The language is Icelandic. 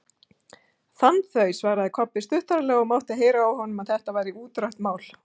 Fann þau, svaraði Kobbi stuttaralega og mátti heyra á honum að þetta væri útrætt mál.